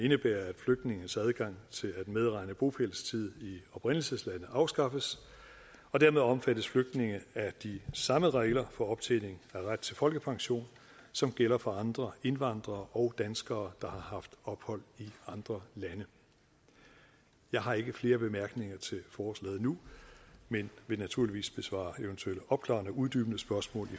indebærer at flygtninges adgang til at medregne bopælstid i oprindelseslandet afskaffes og dermed omfattes flygtninge af de samme regler for optjening af ret til folkepension som gælder for andre indvandrere og danskere der har haft ophold i andre lande jeg har ikke flere bemærkninger til forslaget nu men vil naturligvis besvare eventuelle opklarende og uddybende spørgsmål